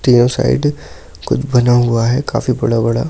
तीनों साइड कुछ बना हुआ हैकाफी बड़ा-बड़ा--